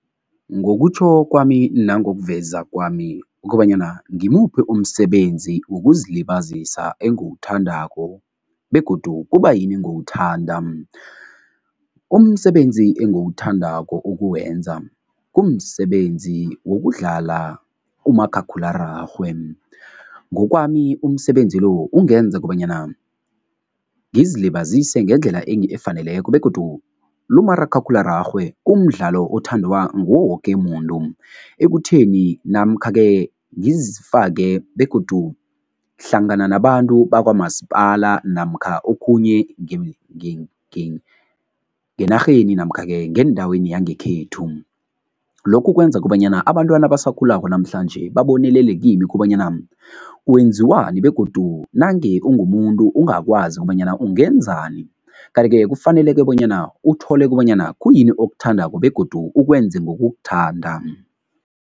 Ngokutjho kwami nangokuveza kwami ukobanyana ngimuphi umsebenzi wokuzilibazisa engiwuthandako begodu kubayini ngiwuthanda? Umsebenzi engiwuthandako ukuwenza, kumsebenzi wokudlala umakhakhulararhwe. Ngokwami umsebenzi lo ungenza kobanyana ngizilibazise ngendlela efaneleko begodu lo umakhakhulararhwe umdlalo othandwa nguwo woke muntu ekutheni namkha-ke ngizifake begodu hlangana nabantu bakwamasipala namkha okhunye ngenarheni namkha-ke ngendaweni yangekhethu. Lokhu kwenza kobanyana abantwana abasakhulako namhlanje babonelele kimi kobanyana kwenziwani begodu nange ungumuntu ungakwazi kobanyana ungenzani kanti-ke kufaneleke bonyana uthole kobanyana khuyini okuthandako begodu ukwenze ngokukuthanda.